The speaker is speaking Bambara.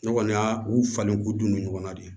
Ne kɔni y'a u falen k'u dun ɲɔgɔn na de